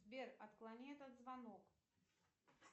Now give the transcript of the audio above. сбер отклони этот звонок